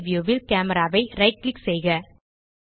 3ட் வியூ ல் கேமரா ஐ ரைட் கிளிக் செய்க